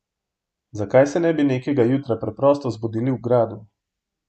Zakaj se ne bi nekega jutra preprosto zbudili v gradu?